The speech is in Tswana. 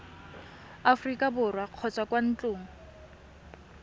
aforika borwa kgotsa kwa ntlong